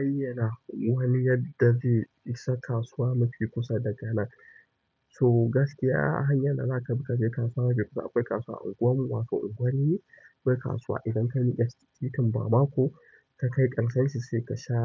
Ayyana wani yadda zai isa kasuwa mafi kusa daga nan. So gaskiya hanyar da zaka bi ka je kasuwa mafi kusa. Kasuwa ubanwa na ubanni inje kasuwa idan ka miƙe ta titin bamako ka kai ƙarshen shi sai ka sha